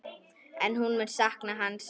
En hún mun sakna hans.